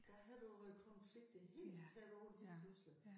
Der havde du øh konflikter helt tæt på lige pludselig